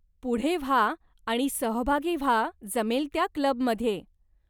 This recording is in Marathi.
पुढे व्हा आणि सहभागी व्हा जमेल त्या क्लबमध्ये.